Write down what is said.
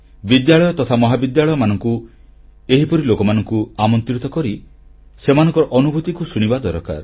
ବିଦ୍ୟାଳୟ ତଥା ମହାବିଦ୍ୟାଳୟମାନଙ୍କୁ ଏହିପରି ଲୋକମାନଙ୍କୁ ଆମନ୍ତ୍ରିତ କରି ସେମାନଙ୍କର ଅନୁଭୂତିକୁ ଶୁଣିବା ଦରକାର